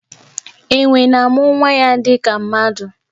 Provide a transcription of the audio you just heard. Enwè na-amụ nwa ya dịka mmadụ.